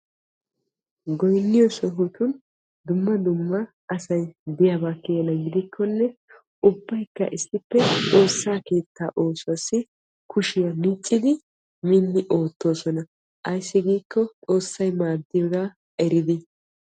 Goynniyo sohotin dumma dumma asay de'iyaba gidikkonne ubbaykka issippe xoosa oosuwa kushiya micciddi ootossonna ayssi giikko xoossay maaddiyooga eriddi.